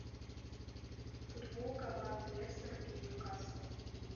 футбол команд лестер и ньюкасл